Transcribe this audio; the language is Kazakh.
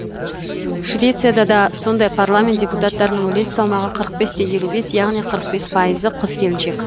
швецияда да сондай парламент депутаттарының үлес салмағы қырық бес те елу бес яғни қырық бес пайызы қыз келіншек